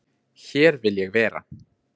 Hér vil ég vera